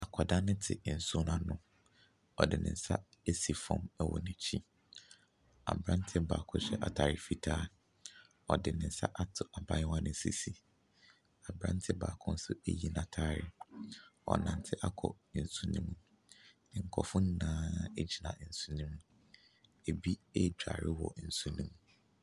Akɔdaa ne tse nsuo n'ano. Ɔde ne nsa esi fɔm ɛwɔ n'akyi. Abrantseɛ baako hyɛ ataare fitaa. Ɔde ne nsa ato abayewa ne sisi. Abrantse baako nso eyi nataare. Ɔnantse akɔ nsu ne mu. Nkɔfoɔ no nyinaa egyina nsuo ne mu. Ebi egwaare ɛwɔ nsu no mu.